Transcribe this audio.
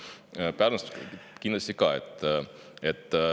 Jaa, Pärnust kindlasti ka.